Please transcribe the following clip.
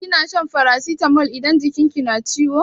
Kina shan farasitamol idan jikin ki na ciwo?